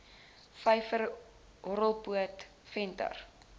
vyver horrelpoot venter